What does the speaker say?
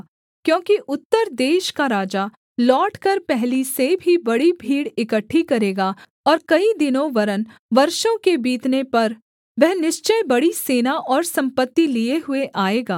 क्योंकि उत्तर देश का राजा लौटकर पहली से भी बड़ी भीड़ इकट्ठी करेगा और कई दिनों वरन् वर्षों के बीतने पर वह निश्चय बड़ी सेना और सम्पत्ति लिए हुए आएगा